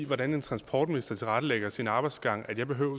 i hvordan en transportminister tilrettelægger sin arbejdsgang at jeg behøver at